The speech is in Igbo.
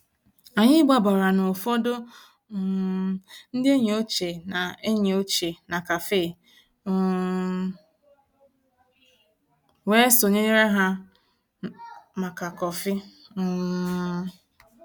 Ànyị́ gbabàrà ná ụ̀fọ̀dụ̀ um ndí ényí òchie ná ényí òchie ná cafe um wéé sonyéré há màkà kọ́fị̀. um